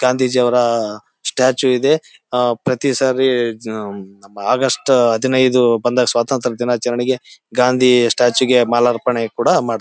ಗಾಂಧೀಜಿಯವರ ಸ್ಟ್ಯಾಚು ಇದೆ. ಆ ಪ್ರತಿ ಸಾರಿ ಹ್ಮ್ ಆಗಸ್ಟ್ ಹದಿನೈದು ಬಂದಾಗ ಸ್ವಾತಂತ್ರ್ಯ ದಿನಾಚರಣೆಗೆ ಗಾಂಧಿ ಸ್ಟ್ಯಾಚು ಗೆ ಮಾಲಾರ್ಪಣೆ ಕೂಡ ಮಾಡ್ತಾ--